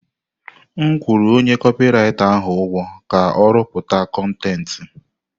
M kwụrụ onye kopị writa ahụ ụgwọ ka ọ rụpụta kọntentị.